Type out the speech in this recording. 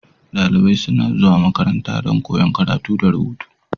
Dalibai suna zuwa makaranta don koyon karatu da rubutu.